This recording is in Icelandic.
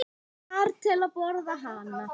ar til að borða hana.